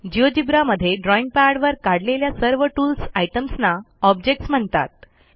GeoGebra मध्ये drawing पॅडवर काढलेल्या सर्व टूल्स आयटम्सना ऑब्जेक्ट्स म्हणतात